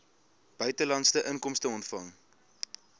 buitelandse inkomste ontvang